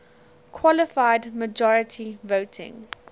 qualified majority voting